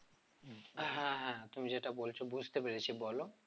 হ্যাঁ হ্যাঁ তুমি যেটা বলছো বুঝতে পেরেছি বলো